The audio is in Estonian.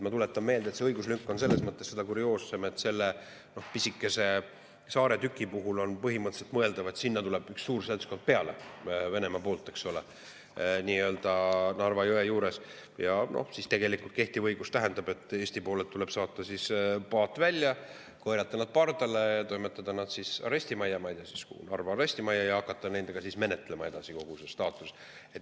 Ma tuletan meelde, et see õiguslünk on seda kurioossem, et selle pisikese saaretüki puhul on põhimõtteliselt mõeldav, et sinna tuleb üks suur seltskond Venemaa poolt Narva jõge peale ja kehtiva õiguse Eesti poolelt tuleb saata paat välja, korjata nad pardale, toimetada nad arestimajja ma ei tea kuhu, ehk Narva arestimajja, ja hakata siis edasi menetlema kogu nende staatust.